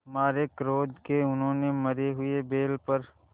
मारे क्रोध के उन्होंने मरे हुए बैल पर